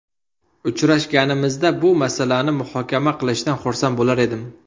Uchrashganimizda bu masalani muhokama qilishdan xursand bo‘lar edim”.